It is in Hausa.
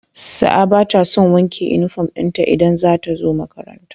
Sa'a batason wanke inufom dinta idan zatazo makaranta